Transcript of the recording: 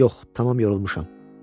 Yox, tamam yorulmuşam.